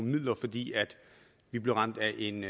midler fordi vi blev ramt af en